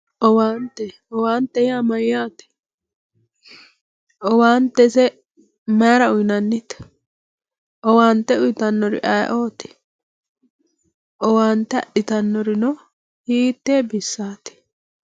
owaante owaantete yaa mayyaate owaante ise mayiira uyiinannite owaante uyiitannoti ayiiooti owaante adhitannorino hiittee bissaati.